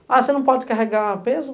Ah, você não pode carregar peso?